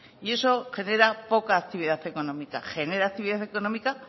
y eso genera poca actividad económica genera actividad económica